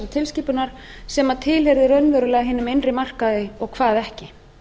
tilskipunar sem tilheyrir raunverulega hinum innri markaði og hvað ekki